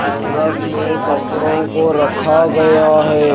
Hangers में कपड़ों को रखा गया है।